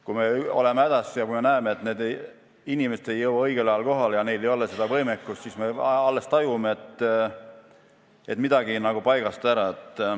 Kui me oleme hädas ja me näeme, et need inimesed ei jõua õigel ajal kohale, et neil ei ole seda võimekust, siis me alles tajume, et midagi on nagu paigast ära.